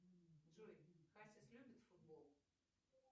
джой хасис любит футбол